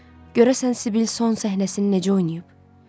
Görəsən Sibil son səhnəsini necə oynayıb?